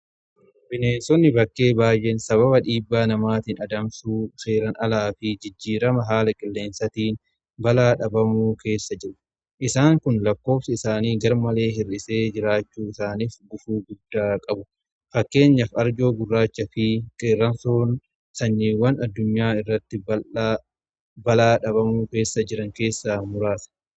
Bineensonni bakkee baay'een sababa dhiibbaa namaatiin adamsuu seeran alaa fi jijjiirama haala qilleensatiin balaa dhabamuu keessa jiru. Isaan kun lakkoofsa isaanii gar malee hir'isee jiraachuu isaaniif gufuu guddaa qaba. Fakkeenyaaf arjoo gurraachaa fi qeerrensi sanyiiwwan addunyaa irratti balaa dhabamuu keessa jiran keessa muraasa.